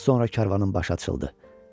Az sonra karvanın başı açıldı.